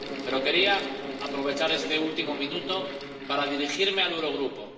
Pero quería aprovechar este último minuto para dirigirme al Eurogrupo.